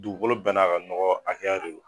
Dugukolo bɛɛ n'a ka nɔgɔ a hakɛ de don.